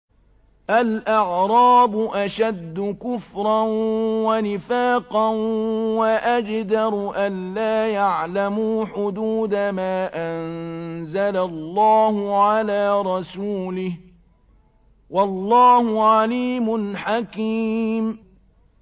الْأَعْرَابُ أَشَدُّ كُفْرًا وَنِفَاقًا وَأَجْدَرُ أَلَّا يَعْلَمُوا حُدُودَ مَا أَنزَلَ اللَّهُ عَلَىٰ رَسُولِهِ ۗ وَاللَّهُ عَلِيمٌ حَكِيمٌ